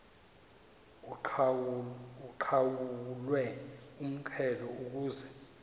uqhawulwe umxhelo ukuze